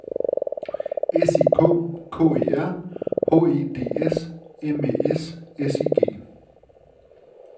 S I K K E R H E D S M Æ S S I G